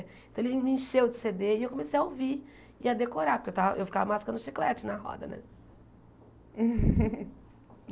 Então ele me encheu de Cê Dê e eu comecei a ouvir e a decorar, porque eu ta eu ficava mascando chiclete na roda né.